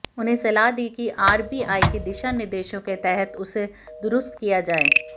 उन्हें सलाह दी कि आरबीआई के दिशा निर्देशों के तहत उसे दुरुस्त किया जाए